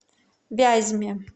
вязьме